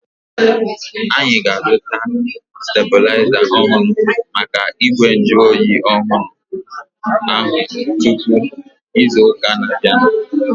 Anyị ga-azuta stebulaiza ọhụrụ maka igwe nju oyi ọhụrụ ahu tupu ịzụ ụka na-abianu